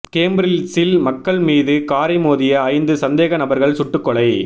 கேம்ப்ரில்ஸில் மக்கள் மீது காரை மோதிய ஐந்து சந்தேக நபர்கள் சுட்டுக் கொலை